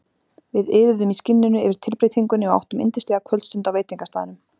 Við iðuðum í skinninu yfir tilbreytingunni og áttum yndislega kvöldstund á veitingastaðnum.